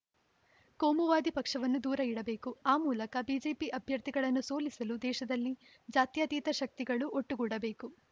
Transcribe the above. ಕೋಮುವಾದಿ ಪಕ್ಷವನ್ನು ದೂರ ಇಡಬೇಕು ಆ ಮೂಲಕ ಬಿಜೆಪಿ ಅಭ್ಯರ್ಥಿಗಳನ್ನು ಸೋಲಿಸಲು ದೇಶದಲ್ಲಿ ಜಾತ್ಯತೀತ ಶಕ್ತಿಗಳು ಒಟ್ಟುಗೂಡಬೇಕು